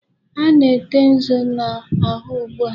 A na-ete nzu na'ahú ugbu a?